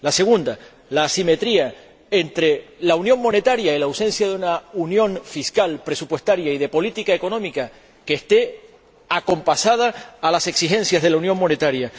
La segunda, la asimetría entra la unión monetaria y la ausencia de una unión fiscal, presupuestaria y de política económica que esté acompasada a las exigencias de la unión monetaria.